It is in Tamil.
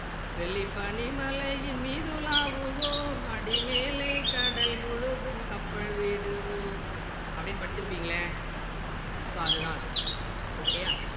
வெள்ளி பணிமலையின் மீதுலாவுவோம் அடி மேலே கடல் முழுதும் கப்பல் விடுவோம் அப்படின்னு படிச்சிருப்பீங்களே so அது தான் அது